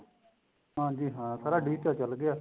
ਹਾਂਜੀ ਹਾਂ ਸਾਰਾ digital ਚੱਲ ਪਿਆ